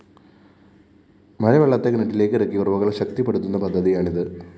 മഴവെള്ളത്തെ കിണറ്റിലേക്ക് ഇറക്കി ഉറവകള്‍ ശക്തിപ്പെടുത്തുന്ന പദ്ധതിയാണിത്